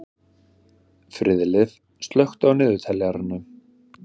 Friðleif, slökktu á niðurteljaranum.